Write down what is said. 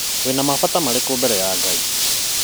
Wĩna mabata marĩkũ mbere ya Ngai